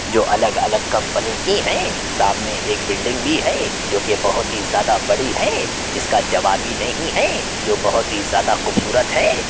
यह अलग-अलग कंपनी की हैं सामने एक बिल्डिंग भी है जो कि बहुत ही ज्यादा बड़ी है जिसका जवाब ही नहीं है यह बहुत ही ज्यादा खूबसूरत है।